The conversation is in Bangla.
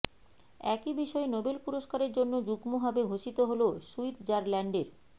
একই বিষয়ে নোবেল পুরস্কারের জন্য যুগ্মভাবে ঘোষিত হল সুইত্জারল্যান্ডের